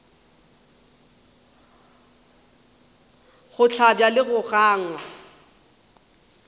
go hlabja le go gangwa